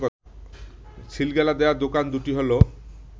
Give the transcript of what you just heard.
সিলগালা দেয়া দোকান দুটি হল